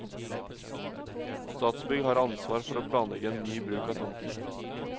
Statsbygg har ansvar for å planlegge ny bruk av tomten.